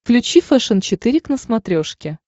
включи фэшен четыре к на смотрешке